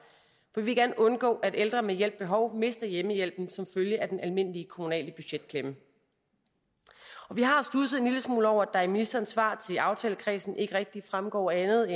vi vil gerne undgå at ældre med hjælp behov mister hjemmehjælpen som følge af den almindelige kommunale budgetklemme vi har studset en lille smule over at der i ministerens svar til aftalekredsen ikke rigtig fremgår andet